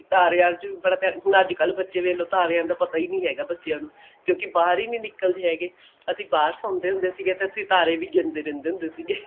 ਤਾਰਿਆਂ ਚ ਹੁਣ ਅੱਜਕਲ ਬੱਚੇ ਵੇਖ ਲੋ ਤਾਰਿਆਂ ਦਾ ਪਤਾ ਹੀ ਨਹੀਂ ਹੈਗਾ ਬੱਚਿਆਂ ਨੂੰ ਕਿਉਂਕਿ ਬਾਹਰ ਹੀ ਨਹੀਂ ਨਿਕਲਦੇ ਹੈਗੇ ਅਸੀਂ ਬਾਹਰ ਸੋਂਦੇ ਹੁੰਦੇ ਸੀ ਤਾਂ ਅਸੀਂ ਤਾਰੇ ਵੀ ਗਿਣਦੇ ਰਹਿੰਦੇ ਹੁੰਦੇ ਸੀਗੇ